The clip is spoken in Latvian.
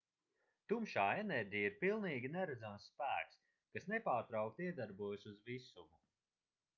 tumšā enerģija ir pilnīgi neredzams spēks kas nepārtraukti iedarbojas uz visumu